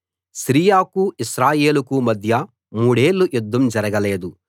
సిరియాకూ ఇశ్రాయేలుకూ మధ్య మూడేళ్ళు యుద్ధం జరగలేదు